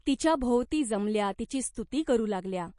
तिच्याभोवती जमल्या, तिची स्तुती करू लागल्या.